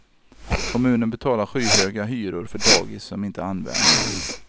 Kommunen betalar skyhöga hyror för dagis som inte används.